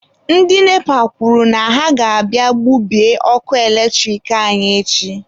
Ndị NEPA kwuru na ha ga-abịa gbubie ọkụ eletrik anyị echi.